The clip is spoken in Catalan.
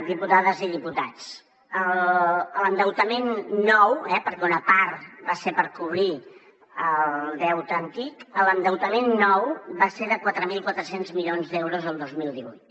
diputades i diputats l’endeutament nou eh perquè una part va ser per cobrir el deute antic l’endeutament nou va ser de quatre mil quatre cents milions d’euros el dos mil divuit